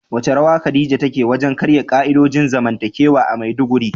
Wace rawa Khadija ta taka wajen karya ka'idojin zamantakewa a Maiduguri?